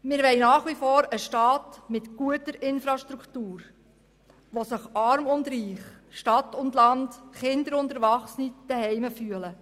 Wir wollen nach wie vor einen Staat mit guter Infrastruktur, wo sich Arm und Reich, Stadt und Land, Kinder und Erwachsene zu Hause fühlen.